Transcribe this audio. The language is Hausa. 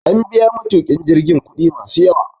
An biya matukin jirgin kudi masu yawa